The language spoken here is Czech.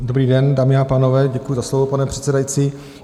Dobrý den, dámy a pánové, děkuji za slovo, pane předsedající.